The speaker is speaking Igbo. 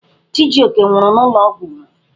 Chijioke nwụrụ n'ụlọ ọgwụ.